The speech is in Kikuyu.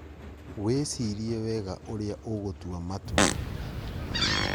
Wĩcirie wega ũrĩa ũgũtua matua